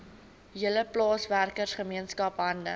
hele plaaswerkergemeenskap hande